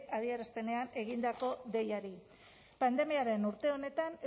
adierazpenean egindako deiari pandemiaren urte honetan